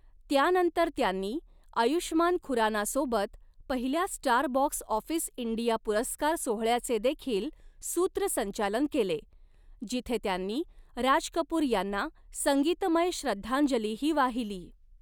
त्यानंतर त्यांनी आयुष्मान खुराना सोबत पहिल्या स्टार बॉक्स ऑफिस इंडिया पुरस्कार सोहळ्याचे देखील सूत्रसंचालन केले, जिथे त्यांनी राज कपूर यांना संगीतमय श्रद्धांजलीही वाहिली.